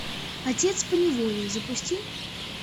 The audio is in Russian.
отец поневоле запусти